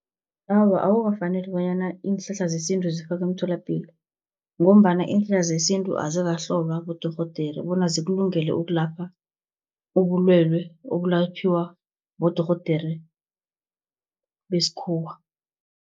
Awa, akukafaneli bonyana iinhlahla zesintu zifakwe emtholapilo, ngombana iinhlahla zesintu azikahlolwa bodorhodere, bona zikulungele ukulapha ubulwelwe, ebulatjhwa bodorhodere beskhuwa.